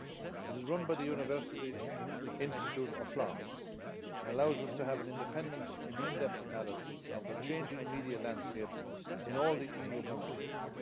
It is run by the University Institute of Florence and allows us to have an independent and in depth analysis of the changing media landscapes in all the EU Member States.